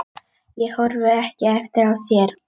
Ég horfi ekki eftir þér.